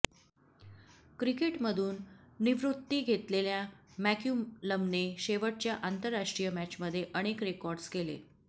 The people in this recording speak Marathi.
क्रिकेटमधून निवृत्ती घेतलेल्या मॅक्युलमने शेवटच्या आंतरराष्ट्रीय मॅचमध्ये अनेक रेकॉर्ड्स केले